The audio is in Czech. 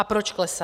A proč klesá?